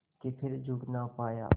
के फिर जुड़ ना पाया